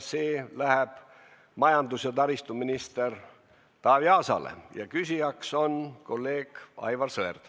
See läheb majandus- ja taristuminister Taavi Aasale ja küsijaks on kolleeg Aivar Sõerd.